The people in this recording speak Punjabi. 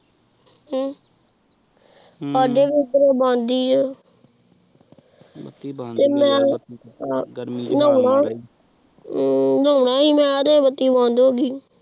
ਹਮਮ ਤ੍ਵਾਦੇ ਓਹ੍ਦਰ ਵੀ ਬੱਤੀ ਬੰਦੀ ਓਹ੍ਹ ਨਹਾਉਣ ਸੀ ਮੈ ਬੱਤੀ ਬੰਦ ਹੋ ਗਯੀ